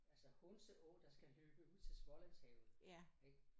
Altså Hunse å der skal løbe ud til Smålandshavet ik